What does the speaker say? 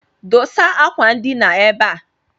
Dosa akwandina ebe a!